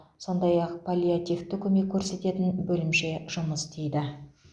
сондай ақ паллиативті көмек көрсететін бөлімше жұмыс істейді